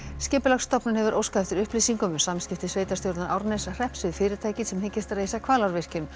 Skipulagsstofnun hefur óskað eftir upplýsingum um samskipti sveitarstjórnar Árneshrepps við fyrirtækin sem reisa Hvalárvirkjun